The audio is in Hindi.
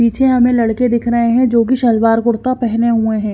पीछे हमें लड़के दिख रहे हैं जो कि शलवार कुर्ता पहने हुए हैं।